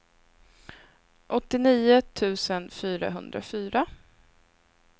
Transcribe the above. åttionio tusen fyrahundrafyra